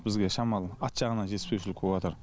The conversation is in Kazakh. бізге шамалы ат жағынан жетіспеушілік болыватр